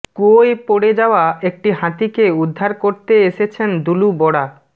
কুয়োয় পড়ে যাওয়া একটি হাতিকে উদ্ধার করতে এসেছেন দুলু বরা